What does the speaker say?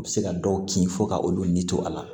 U bɛ se ka dɔw kin fo ka olu ni to a la